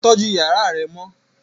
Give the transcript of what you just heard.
Tọjù yàrá rẹ mọ!